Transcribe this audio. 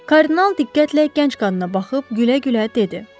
Kardinal diqqətlə gənc qadına baxıb gülə-gülə dedi.